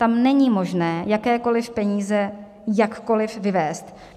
Tam není možné jakékoliv peníze jakkoliv vyvést.